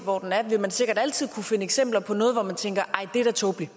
hvor den er vil man sikkert altid kunne finde eksempler på noget hvor man tænker nej det er da tåbeligt